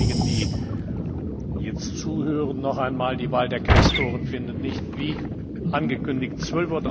Für all diejenigen, die jetzt zuhören, noch einmal Die Wahl der Quästoren findet nicht wie angekündigt um